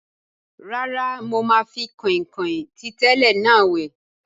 Rárá, mo máa fi kọ̀nkọ̀n ti tẹ́lẹ̀ náà wẹ̀